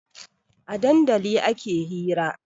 A dandali ake hira